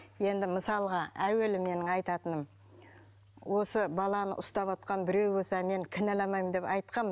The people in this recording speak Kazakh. енді мысалға әуелі менің айтатыным осы баланы ұстап отырған біреу болса мне кінәламаймын деп айтқанмын